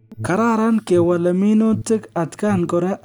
Kararan kewale minutik atkan kora asi kekirinda timdo